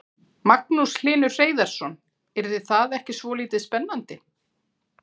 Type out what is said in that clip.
Magnús Hlynur Hreiðarsson: Yrði það ekki svolítið spennandi?